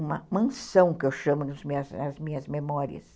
Uma mansão, que eu chamo nas minhas memórias.